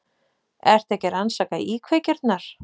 Ertu ekki að rannsaka íkveikjurnar?